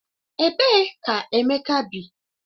Ebee ka Emeka bi?